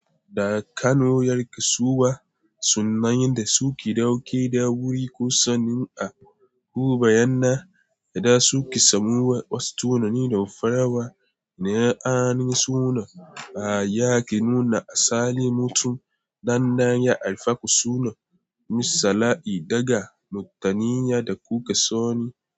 Da Kano yar kasuwa, sunayen da suke ɗauke da wuri ko sanin a huba, yana yada suke samowa wasu tunani da farawa. Na'ana'an suna ba ya ke nuna asali mutum, dannan ya alfaku suna, misala I daga, mutaniyya da kuka sani.